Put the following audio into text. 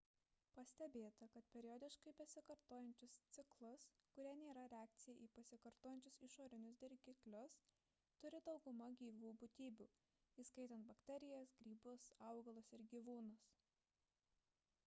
pastebėta kad periodiškai pasikartojančius ciklus kurie nėra reakcija į pasikartojančius išorinius dirgiklius turi dauguma gyvų būtybių įskaitant bakterijas grybus augalus ir gyvūnus